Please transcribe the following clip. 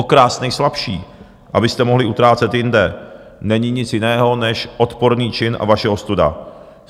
Okrást nejslabší, abyste mohli utrácet jinde, není nic jiného než odporný čin a vaše ostuda.